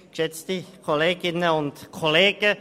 Der Antragsteller hat das Wort.